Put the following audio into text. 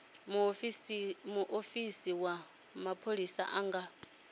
muofisi wa mapholisa a nga